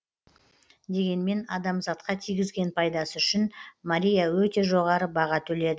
дегенмен адамзатқа тигізген пайдасы үшін мария өте жоғары баға төледі